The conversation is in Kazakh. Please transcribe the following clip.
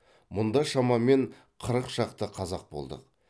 мұнда шамамен қырық шақты қазақ болдық